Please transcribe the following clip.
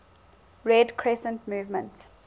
red crescent movement